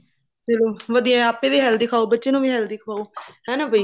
ਫੇਰ ਉਹ ਵਧੀਆ ਆਪੇ ਵੀ healthy ਖਾਓ ਬੱਚੇ ਨੂੰ ਵੀ healthy ਖਵਾਓ ਹਨਾ ਬਈ